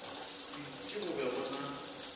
hwiti go be go na